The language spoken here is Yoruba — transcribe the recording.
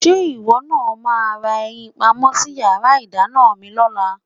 Ṣé ìwọ náà máa ra ẹyin pamọ́ sí yàrá ìdáná mi lọ́la?